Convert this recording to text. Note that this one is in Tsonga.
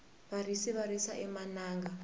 varisi va risa emananga